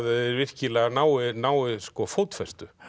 virkilega nái nái fótfestu